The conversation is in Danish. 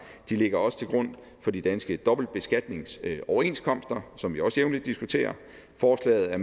ligger også til grund for de danske dobbeltbeskatningsoverenskomster som vi også jævnligt diskuterer forslaget er